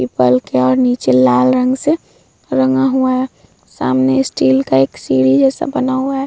People है और नीचे लाल रंग से रंगा हुआ है। सामने एक स्टील का सीढ़ी जैसा बना हुआ है।